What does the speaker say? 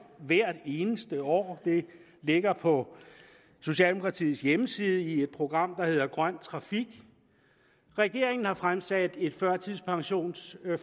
hvert eneste år det ligger på socialdemokratiets hjemmeside i et program der hedder grøn trafik regeringen har fremsat et førtidspensionsforslag